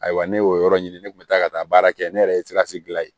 Ayiwa ne y'o yɔrɔ ɲini ne kun bɛ taa ka taa baara kɛ ne yɛrɛ ye sikasi gilan yen